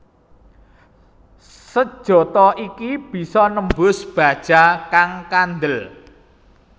Sejata iki bisa nembus baja kang kandel